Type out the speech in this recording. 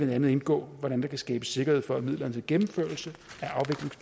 andet indgå hvordan der kan skabes sikkerhed for at midlerne til gennemførelsen